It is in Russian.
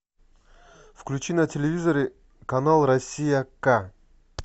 включи на телевизоре канал россия ка